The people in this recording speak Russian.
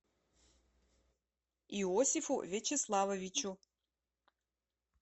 иосифу вячеславовичу